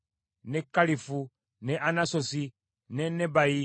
ne Kalifu, ne Anasosi, ne Nebayi,